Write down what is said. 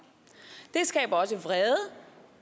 det skaber også vrede